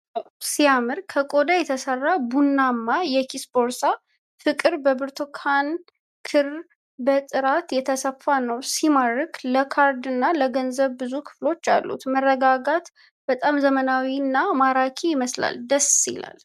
ዋው ሲያምር! ከቆዳ የተሰራ ቡናማ የኪስ ቦርሳ። ፍቅር! በብርቱካን ክር በጥራት የተሰፋ ነው። ሲማርክ። ለካርድና ለገንዘብ ብዙ ክፍሎች አሉት። መረጋጋት። በጣም ዘመናዊና ማራኪ ይመስላል። ደስ ይላል!